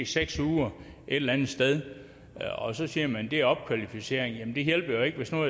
seks uger et eller andet sted og så siger man det er opkvalificering men det hjælper jo ikke hvis nu